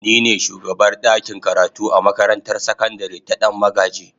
Ni ne shugabar dakin karatu a makarantar sakandare ta Dan magaji.